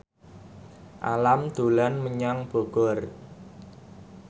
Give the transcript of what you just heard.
Alam dolan menyang Bogor